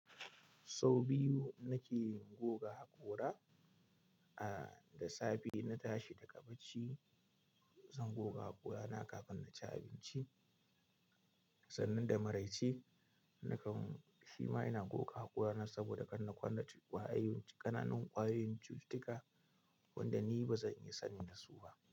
Sau biyu nake goga haƙora, a da safe na tashi daga bacci zan goga haƙorana kafin na ci abinci sannan da maraice nakan shima ina goga hakorana saboda kar na kwana da ƙwayoyin ƙananan ƙwayoyin cututtuka wanda ni ba zan iya sani da su ba.